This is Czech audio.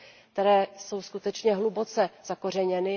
které jsou skutečně hluboce zakořeněny.